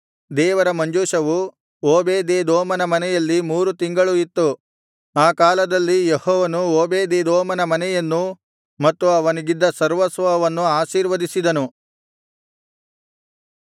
ದೇವರ ಮಂಜೂಷವು ಓಬೇದೆದೋಮನ ಮನೆಯಲ್ಲಿ ಮೂರು ತಿಂಗಳು ಇತ್ತು ಆ ಕಾಲದಲ್ಲಿ ಯೆಹೋವನು ಓಬೇದೆದೋಮನ ಮನೆಯನ್ನೂ ಮತ್ತು ಅವನಿಗಿದ್ದ ಸರ್ವಸ್ವವನ್ನೂ ಆಶೀರ್ವದಿಸಿದನು